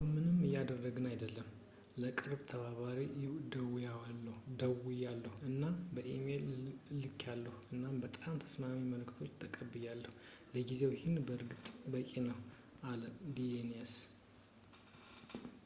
አሁን ምንም እያደግን አይደለም ለቅርብ ተባባሪው ደውያለሁ አና ኢሜይል ልክያለሁ እናም በጣም ተስማሚ መልሶችን ተቀብያለሁ ለጊዜው ይህ በእርግጥ በቂ ነው አለ ዳኒየስ